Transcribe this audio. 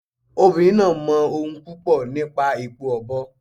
Obìnrin náà máa mọ ohun púpọ̀ nípa èpo ọ̀bọ̀.